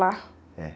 Lá?.